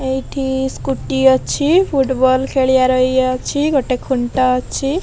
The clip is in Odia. ଏଟି ସ୍କୁଟି ଅଛି। ଫୁଡବଲ ଖେଳି ବାର ଏ ଅଛି। ଗୋଟେ ଖୁଣ୍ଟ ଅଛି।